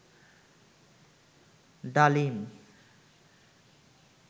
ডালিম